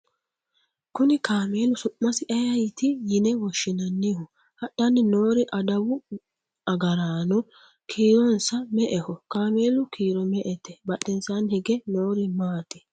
kuni kameelu su'masi ayeeti yine woshshinanniho? hadhanni noori adawu agaraano kiironsa me"eho kameelu kiiro me"ete? badhesiini hige noori maati ?